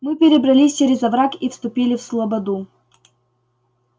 мы перебрались через овраг и вступили в слободу